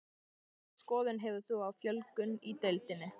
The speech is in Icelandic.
Hvaða skoðun hefur þú á fjölgun í deildinni?